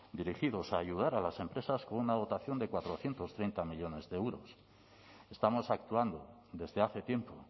dirigidos a ayudar a las empresas con una dotación de cuatrocientos treinta millónes de euros estamos actuando desde hace tiempo